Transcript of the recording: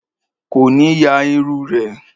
Ko ni ya iru re